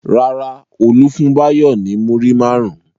Rárá, Olú fún Báyọ̀ ní múrí márùn-ún.